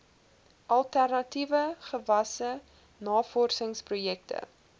alternatiewe gewasse navorsingsprojekte